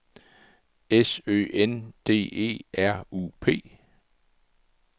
S Ø N D E R U P